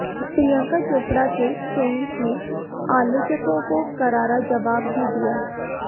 प्रियंका चोपड़ा के फैन्स ने आलोचकों को करारा जबाब भी दिया